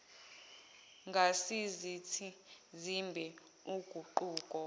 ngasizathi simbe uguquko